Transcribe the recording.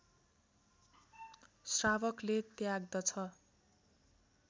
श्रावकले त्याग्दछ